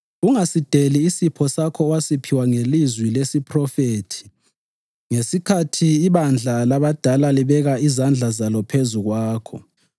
Ungasideli isipho sakho owasiphiwa ngelizwi lesiphrofethi ngesikhathi ibandla labadala libeka izandla zalo phezu kwakho.